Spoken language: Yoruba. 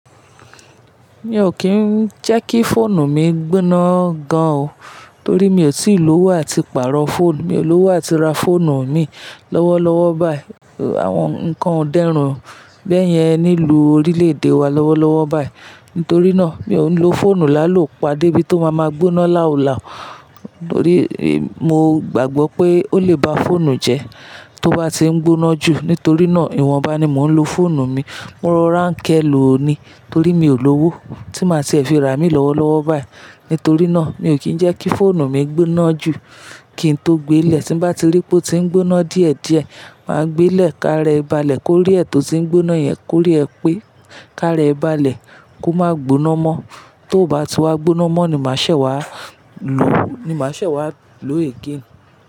Mi ò kín ń jẹ́ kí fóònù mi gbóná gan o. Torí mi ò tíì lówó àti pàárọ̀ fóònù, mi ò lówó àti ra fóònù mi lọ́wọ́lọ́wọ́ báyìí. Àwọn ǹkan o dẹ́rùn bẹ́yẹn nílùú orílè-èdè wa lọ́wọ́lọ́wọ́ báyìí. Nítorí náà, mi ò ń lo fóònù làálò pa dé bí tó máa máa gbóná làú làú. Torí mo gbàgbọ́ pé ó lè ba fóònù jẹ́ tó bá ti ń gbóná jù. Nítorí náà, ìwọ̀nba ni mò ń lo fóònù mi. Mo rọra nkẹ́ lò ó ni. Torí mi ò lówó tí màá ti ẹ fi ra imí lọ́wọ́lọ́wọ́ báyìí. Nítorí náà, mi ò kín ń jẹ́ kí fóònù mi gbóná jù kín n tó gbe lè. Tí mbá ti rí pé ó ti ń gbóná díẹ̀díẹ̀, màá gbe lè káàra ẹ báàlẹ̀ kó rí ẹ tó ti ń gbóná yẹn, kó rí ẹ pé, kaàra ẹ báàlẹ̀, kó má gboná mọ́. T'ó bá ti wá gbóná mọ́ ni màá ṣẹ̀ wá lò ó, ni màá ṣẹ̀ wá lò ó "again".